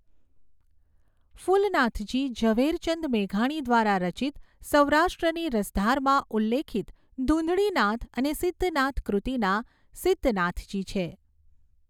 ફુલનાથજી ઝવેરચંદ મેઘાણી દ્રારા રચિત સૌરાષ્ટ્રની રસધારમાં ઉલ્લેખિત ધુંધળીનાથ અને સિધ્ધનાથ કૃત્તિના સિધ્ધનાથજી છે.